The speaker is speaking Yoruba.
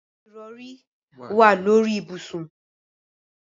Ìrọrí wà lórí ibùsùn.